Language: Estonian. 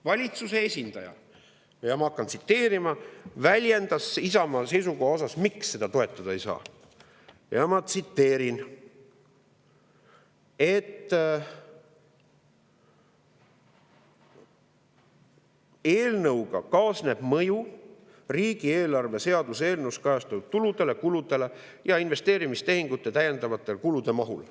Valitsuse esindaja – ma hakkan tsiteerima – väljendas, miks seda Isamaa seisukohta toetada ei saa: eelnõuga kaasneb mõju riigieelarve seaduse eelnõus kajastatud tuludele, kuludele ja investeerimistehingute täiendavate kulude mahule.